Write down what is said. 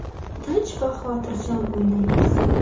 Tinch va xotirjam o‘ynaymiz.